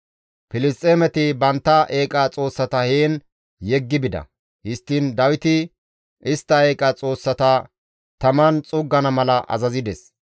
Filisxeemeti bantta eeqa xoossata heen yeggi bida. Histtiin Dawiti istta eeqa xoossata taman xuuggana mala azazides.